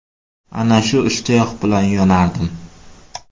Ana shu ishtiyoq bilan yonardim.